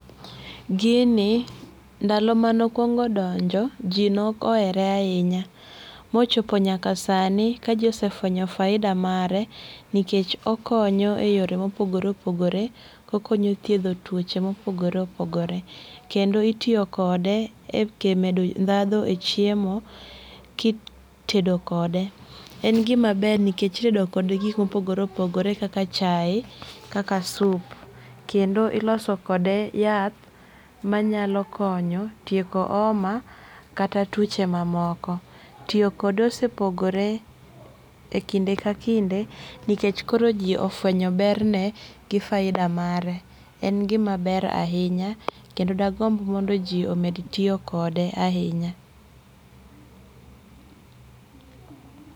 Gii ndalo mane okuongo donjo jii neok ohere ahinya mochopo nyaka ka sani ka jii osefwenyo faida mare nikech okonyo e yore mopogore opogore okonyo thiedho tuoche mopogore opogore. Kendo itiyo kode e medo ndhandhu e chiemo kitedo kode, en gimaber nikech itedo kode gik mopogore opogore kaka chai kaka sup kendo iloso kode yath manyalo konyo tieko homa kata tuoche mamoko. Tiyo kode osepogore e kinde ka kinde nikech nikech koro jii ofwenyo ber ne gi faida mare. En gima ber ahinya kendo dagomb mondo jii omed tiyo kode ahinya